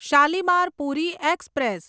Shalimar Puri express